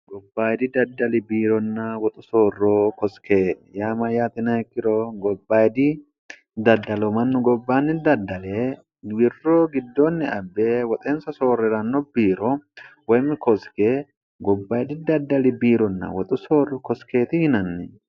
gobbayidi daddali biironna woxu soorro kosike yaa ma'yaatinaekkiro gobbayidi daddalo mannu gobbaanni daddale wirro giddoonni abbe woxeensa soorri'ranno biiro woymi kosike gobbaidi daddali biironna woxu soorro kosikeeti hinanni